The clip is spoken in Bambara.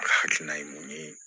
A hakilina ye mun ye